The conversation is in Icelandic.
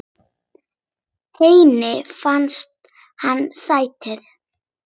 Henni fannst hann sætur.